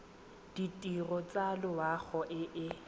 ditirelo tsa loago e e